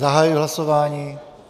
Zahajuji hlasování.